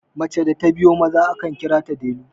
mace da ta biyo Maza akan kira ta delu